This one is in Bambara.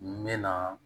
N mɛna